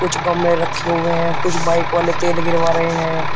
कुछ गमले रखे हुए हैं कुछ बाइक वाले तेल गिरवा रहे हैं।